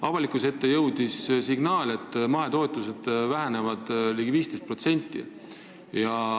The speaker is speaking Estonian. Avalikkuse ette on jõudnud signaal, et mahetootmise toetused vähenevad ligi 15%.